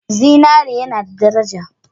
Zinare yana da daraja.